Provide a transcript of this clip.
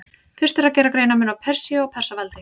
Fyrst er að gera greinarmun á Persíu og Persaveldi.